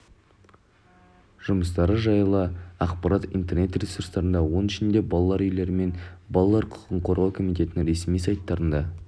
жұмыстары жайлы ақпарат интернет-ресурстарда оның ішінде балалар үйлері мен балалар құқығын қорғау комитетінің ресми сайтарында